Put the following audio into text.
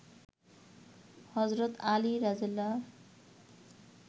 হজরত আলীর রা.